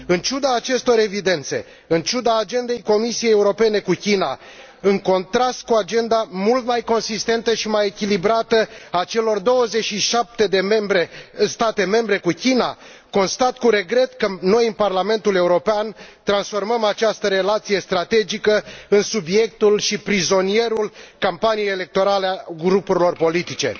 În ciuda acestor evidențe, în ciuda agendei Comisiei Europene cu China, în contrast cu agenda mult mai consistentă și mai echilibrată a celor 27 de state membre cu China, constat cu regret că noi, în Parlamentul European, transformăm această relație strategică în subiectul și prizonierul campaniei electorale a grupurilor politice.